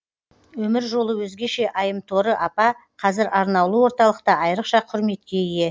өмір жолы өзгеше айымторы апа қазір арнаулы орталықта айрықша құрметке ие